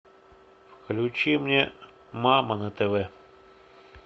включи мне мама на тв